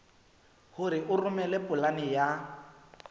hore o romele polane ya